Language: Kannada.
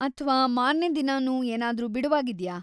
ಅಥ್ವಾ ಮಾರ್ನೇ ದಿನನೂ ಏನಾದ್ರೂ ಬಿಡುವಾಗಿದ್ಯಾ?